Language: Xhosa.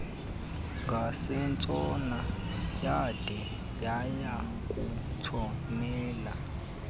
ngasentshona yade yayakutshonela